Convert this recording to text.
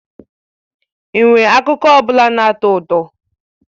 Ị nwere akụkọ ọ bụla na-atọ ụtọ?